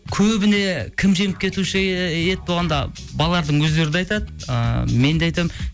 көбіне кім жеңіп кетуші еді көбіне кім жеңіп кетуші еді болғанда балалардың өздері де айтады ы мен де айтамын